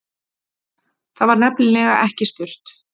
Þar var nefnilega ekki spurt